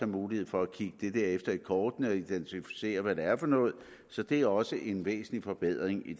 mulighed for at kigge dem efter i kortene og identificere hvad det er for noget så det er også en væsentlig forbedring i